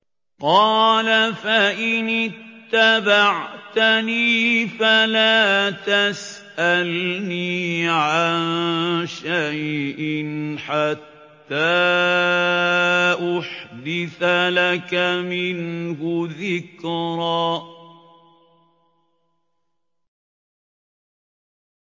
قَالَ فَإِنِ اتَّبَعْتَنِي فَلَا تَسْأَلْنِي عَن شَيْءٍ حَتَّىٰ أُحْدِثَ لَكَ مِنْهُ ذِكْرًا